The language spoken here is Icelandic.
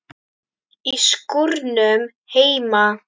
Í skúrnum heima.